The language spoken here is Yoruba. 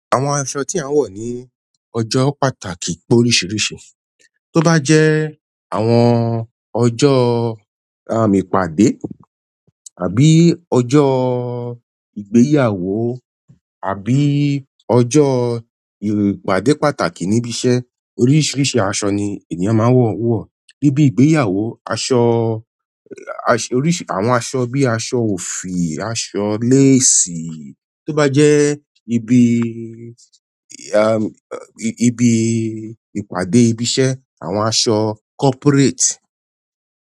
Àwọn aṣọ tí a ń wọ̀ ní ọjọ́ pàtàkì pé oríṣìíríṣìí. To ba jẹ àwọn ọjọ ìpàdé àbí ọjọ ìgbéyàwó àbí ọjọ ìpàdé pàtàkì níbi iṣẹ́ oríṣìíríṣìí aṣọ ni ènìyàn máa ń wọ̀. Ibi ìgbéyàwó aṣọ oríṣìí àwọn aṣọ bíi aṣọ òfì, aṣọ lace i. Tó bá jẹ́ ibi ìpàdé ibi iṣẹ́ àwọn aṣọ corporate.